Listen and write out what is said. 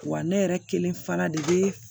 Wa ne yɛrɛ kelen fana de bɛ